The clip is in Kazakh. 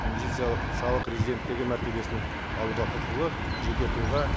инвестициялық салық резиденттігі мәртебесін алуға құқылы жеке тұлға